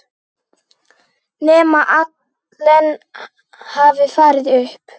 Nema Allen hafi farið upp.